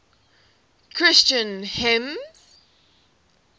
christian hymns